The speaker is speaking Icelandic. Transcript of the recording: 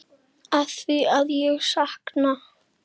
Afþvíað ég sakna.